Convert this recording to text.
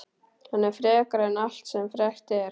Hann er frekari en allt sem frekt er.